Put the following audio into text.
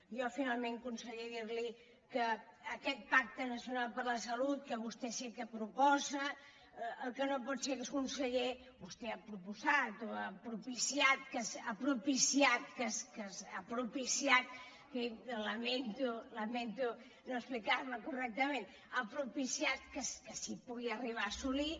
jo finalment conseller dir li que aquest pacte nacional per la salut que vostè sé que proposa el que no pot ser conseller vostè ha proposat o ha propiciat ha propiciat lamento no explicar me correctament ha pro piciat que es pugui arribar a assolir